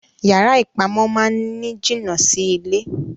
Yara ipamọ máa ni jina Si ilé.